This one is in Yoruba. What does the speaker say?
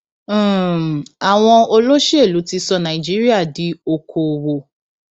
um àwọn olóṣèlú ti sọ nàìjíríà di okoòwò